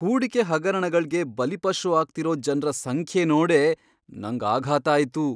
ಹೂಡಿಕೆ ಹಗರಣಗಳ್ಗೆ ಬಲಿಪಶು ಆಗ್ತಿರೋ ಜನ್ರ ಸಂಖ್ಯೆ ನೋಡೇ ನಂಗ್ ಆಘಾತ ಆಯ್ತು.